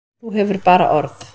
Þú hefur bara orð.